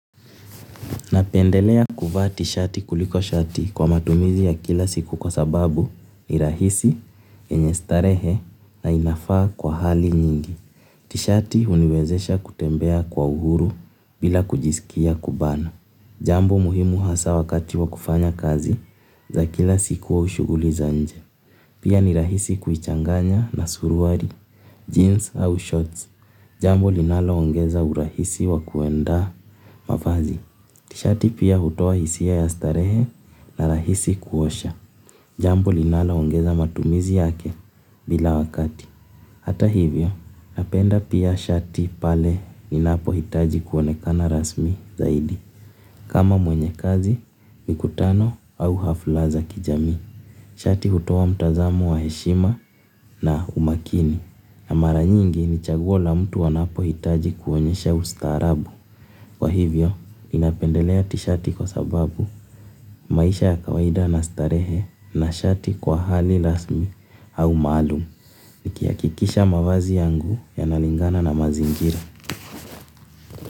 Napendelea kuvaa t-shirti kuliko shati kwa matumizi ya kila siku kwa sababu ni rahisi, yenye starehe na inafaa kwa hali nyingi. T-shati uniwezesha kutembea kwa uhuru bila kujisikia kubana. Jambo muhimu hasa wakati wa kufanya kazi za kila siku au shughuli za nje. Pia ni rahisi kuichanganya na suruali, jeans au shorts. Jambo linaloongeza urahisi wa kuenda mavazi. Tishati pia hutua hisia ya starehe na rahisi kuosha. Jambo linaloongeza matumizi yake bila wakati. Hata hivyo, napenda pia shati pale ninapo hitaji kuonekana rasmi zaidi. Kama mwenye kazi, mikutano au hafla za kijamii. Shati hutoa mtazamo wa heshima na umakini. Na mara nyingi ni chaguo la mtu wanapohitaji kuonesha ustaarabu. Kwa hivyo, ninapendelea tishati kwa sababu maisha ya kawaida na starehe na shati kwa hali rasmi au maalumu. Nikihakikisha mavazi yangu yanalingana na mazingira.